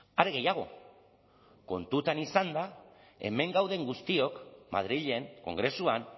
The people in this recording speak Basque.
are gehiago kontutan izanda hemen gauden guztiok madrilen kongresuan